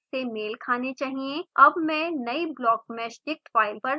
अब मैं नयी blockmeshdict फाइल पर जाती हूँ